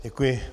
Děkuji.